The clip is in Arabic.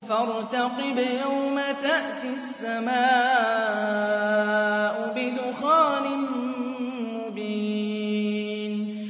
فَارْتَقِبْ يَوْمَ تَأْتِي السَّمَاءُ بِدُخَانٍ مُّبِينٍ